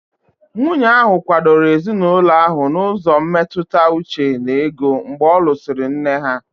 Nwunye ahụ kwadoro ezinụlọ ahụ n'ụzọ mmetụta uche na ego mgbe ọ lụsịrị nne ha.